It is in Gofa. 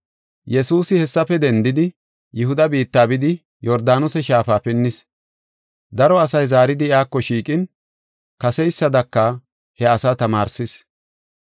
Yesuusi hessafe dendidi, Yihuda biitta bidi Yordaanose Shaafa pinnis. Daro asay zaaridi iyako shiiqin, kaseysadaka he asaa tamaarsis.